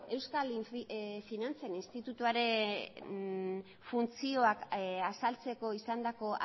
euskal finantzen institutuaren funtzioak azaltzeko izandako